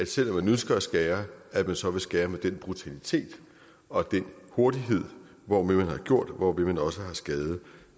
selv om man ønsker at skære så vil skære med den brutalitet og den hurtighed hvormed man har gjort det og hvorved man også har skadet